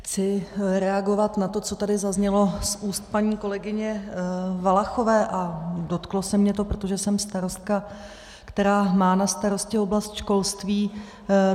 Chci reagovat na to, co tady zaznělo z úst paní kolegyně Valachové, a dotklo se mě to, protože jsem starostka, která má na starosti oblast školství.